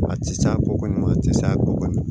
A ti sa a ko kɔni a ti sa a ko kɔni